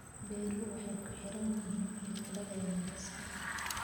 Beeruhu waxay ku xiran yihiin cimilada wanaagsan.